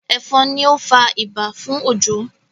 efon ní o fà ibà fún Ojo